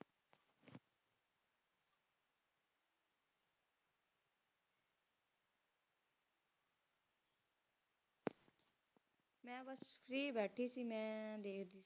ਮੇਂ ਬਸ ਫ੍ਰੀ ਬੈਠੀ ਥੀ ਮੇਂ